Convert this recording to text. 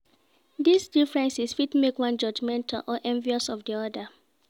These differences fit make one judgemental or envious of di other